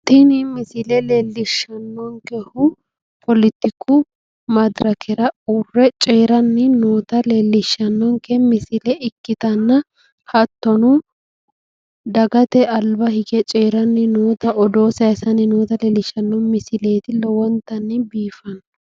Tini misile leellishshannonkehu politiku madirakera uurre coyiranni noota leellishshannonke misile ikkitanna hattono dagate alba hige coyiranni noota odoo sayisanni noota leellishshanno misileeti. lowonta biifanno.